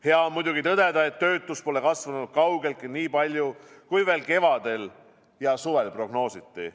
Hea on muidugi tõdeda, et töötus pole kasvanud kaugeltki nii palju, kui veel kevadel ja suvel prognoositi.